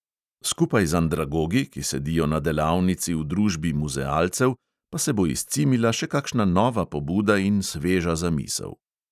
Skupaj z andragogi, ki sedijo na delavnici v družbi muzealcev, pa se bo izcimila še kakšna nova pobuda in sveža zamisel.